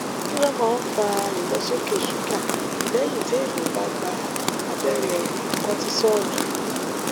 kí ló máa ń fa ìlọsókè ṣúgà lẹyìn téèyàn bá gba abẹrẹ kotisọọlù